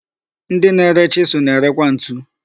Ndị na-ere chisụl na-ere kwa ntu.